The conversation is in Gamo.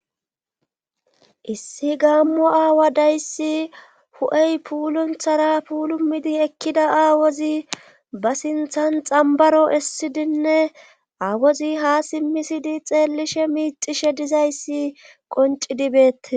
issi gaammo aawa dayssi hu'ey puulunthara puulumidi ekkida aawozi ba sinthan xambaro essidinne aawozi ha simmisidi xeellishe miicishe dizayssi qoncidi beettes